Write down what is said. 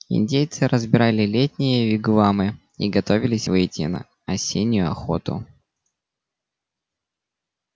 индейцы разбирали летние вигвамы и готовились выйти на осеннюю охоту